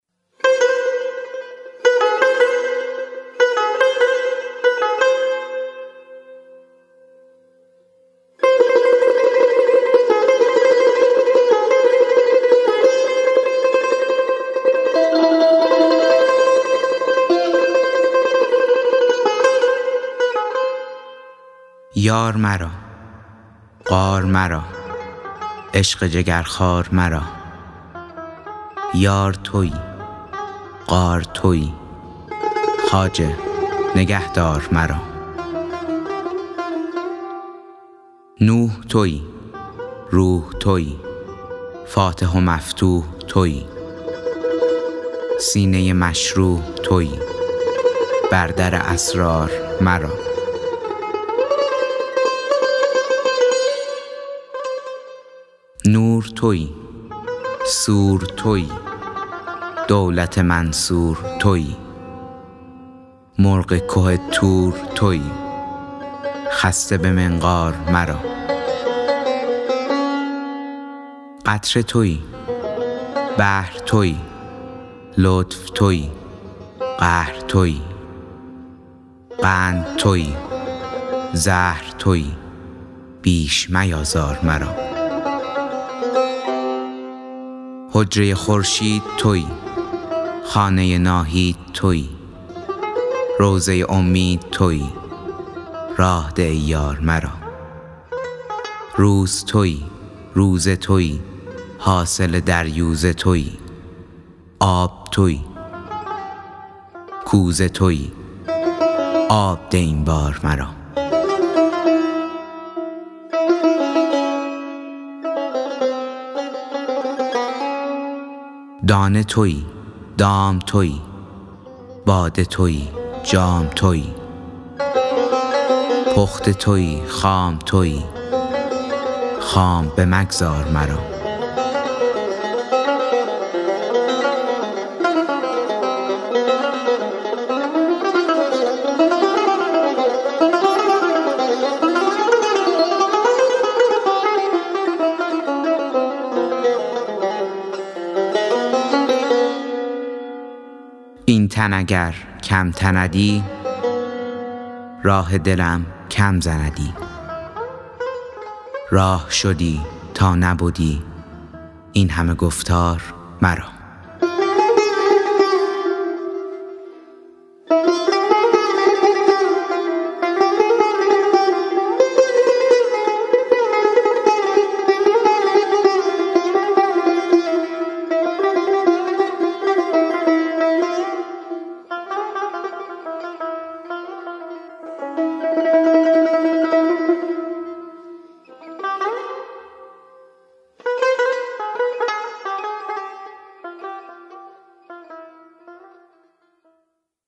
یار مرا غار مرا عشق جگرخوار مرا یار تویی غار تویی خواجه نگهدار مرا نوح تویی روح تویی فاتح و مفتوح تویی سینه مشروح تویی بر در اسرار مرا نور تویی سور تویی دولت منصور تویی مرغ که طور تویی خسته به منقار مرا قطره تویی بحر تویی لطف تویی قهر تویی قند تویی زهر تویی بیش میآزار مرا حجره خورشید تویی خانه ناهید تویی روضه امید تویی راه ده ای یار مرا روز تویی روزه تویی حاصل دریوزه تویی آب تویی کوزه تویی آب ده این بار مرا دانه تویی دام تویی باده تویی جام تویی پخته تویی خام تویی خام بمگذار مرا این تن اگر کم تندی راه دلم کم زندی راه شدی تا نبدی این همه گفتار مرا